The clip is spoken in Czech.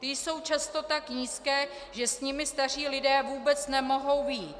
Ty jsou často tak nízké, že s nimi staří lidé vůbec nemohou vyjít.